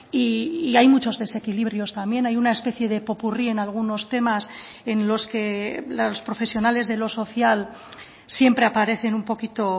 y hay muchos desequilibrios también hay una especie de popurrí en algunos temas en los que los profesionales de lo social siempre aparecen un poquito